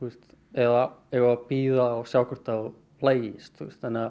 eða eigum við að bíða og sjá hvort að þú lagist